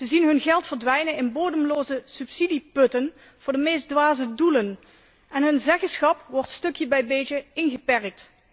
Ze zien hun geld verdwijnen in bodemloze subsidieputten voor de meest dwaze doelen en hun zeggenschap wordt stukje bij beetje ingeperkt.